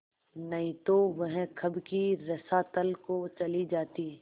नहीं तो वह कब की रसातल को चली जाती